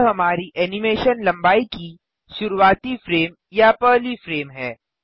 यह हमारी एनिमेशन लंबाई की शुरूवाती फ्रेम या पहली फ्रेम है